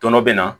Tɔnɔ bɛ na